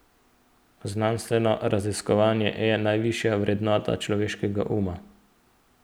Znanstveno raziskovanje je najvišja vrednota človeškega uma.